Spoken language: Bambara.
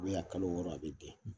a kalo wɔɔrɔ a bi den .